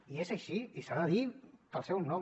i és així i s’ha de dir pel seu nom